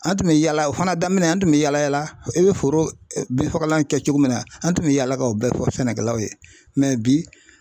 An tun bɛ yala o fana daminɛ an tun bɛ yaala yaala i bɛ foro bin fagalan kɛ cogo min na an tun bɛ yaala ka o bɛɛ fɔ sɛnɛkɛlaw ye bi.